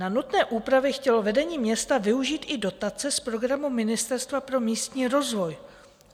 Na nutné úpravy chtělo vedení města využít i dotace z programu Ministerstva pro místní rozvoj.